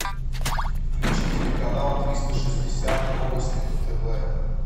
включи телеканал триста шестьдесят новости на тв